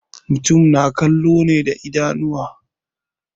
Mutum na kallo ne da idanuwa.